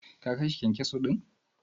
Ka/ kin kashe kyankyaso din?